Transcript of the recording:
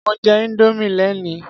Mo jẹ Indomie lénìí.